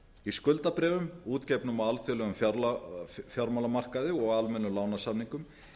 í skuldabréfum útgefnum á alþjóðlegum fjármálamarkaði og almennum lánasamningum